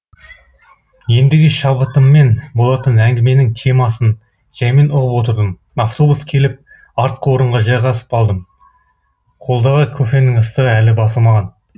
ендігі шабытыммен болатын әңгіменің темасын жәймен ұғып отырдым автобус келіп артқы орынға жайғасып алдым қолдағы кофенің ыстығы әлі басылмаған